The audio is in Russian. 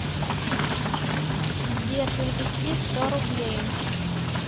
сбер перевести сто рублей